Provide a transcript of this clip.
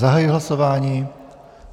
Zahajuji hlasování.